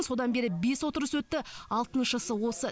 содан бері бес отырыс өтті алтыншысы осы